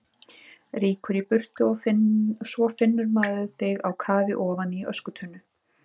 Rýkur í burtu og svo finnur maður þig á kafi ofan í öskutunnu!